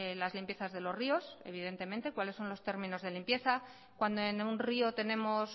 las limpiezas de los ríos evidentemente cuáles son los términos de limpieza cuando en un río tenemos